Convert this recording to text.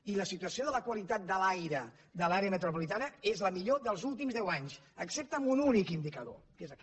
i la situació de la qualitat de l’aire de l’àrea metropolitana és la millor dels últims deu anys excepte en un únic indicador que és aquest